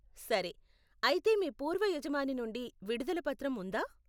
సరే, అయితే మీ పూర్వ యజమాని నుండి విడుదల పత్రం ఉందా?